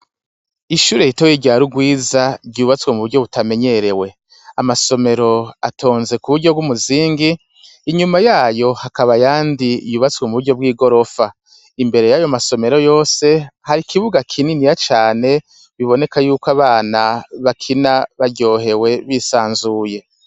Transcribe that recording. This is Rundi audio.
Ishure ritoyi rya Rugwiza, ryubatswe mu buryo butamenyerewe: amasomero atonze ku buryo bw'umuzingi, inyuma yayo hakaba ayandi yubatswe mu buryo bw'i gorofa. Imbere y'ayo masomero yose, hari ikibuga kininiya cane, biboneka yuko abana bakina baryohewe, bisanzuye.